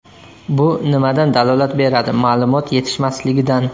Bu nimadan dalolat beradi ma’lumot yetishmasligidan.